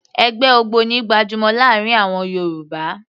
Ẹgbẹ́ ògbóni gbajúmọ̀ láàrin àwọn Yorùbá